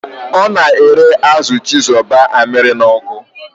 Ọ na-ere azụ chizoba amịrị n'ọkụ.